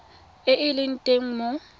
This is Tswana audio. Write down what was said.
e e leng teng mo